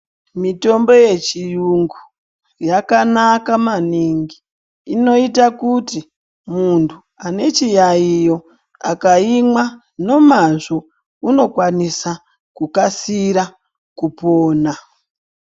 Mitombo yechiyungu yakanaka maningi, inoita kuti muntu ane chiyaiyo akaimwa nomazvo unokwanisa kukasira kupona.